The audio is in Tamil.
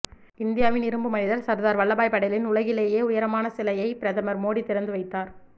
இந்தியாவின் இரும்பு மனிதர் சர்தார் வல்லபாய் படேலின் உலகிலேயே உயரமான சிலையை பிரதமர் மோடி திறந்து வைத்தார்